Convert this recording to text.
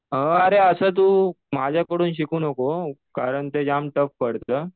अरे असं तू माझ्याकडून शिकू नको कारण ते जाम टफ पडतं.